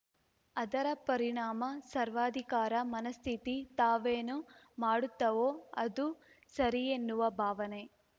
ಅದರ ಪರಿಣಾಮ ಸರ್ವಾಧಿಕಾರ ಮನಸ್ಥಿತಿ ತಾವೇನು ಮಾಡುತ್ತವೋ ಅದೇ ಸರಿಯೆನ್ನುವ ಭಾವನೆ